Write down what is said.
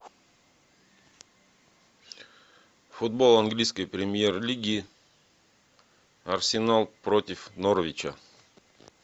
футбол английской премьер лиги арсенал против норвича